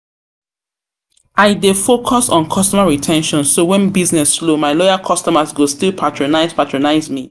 I dey focus on customer re ten tion, so when business slow, my loyal customers go still patronize me.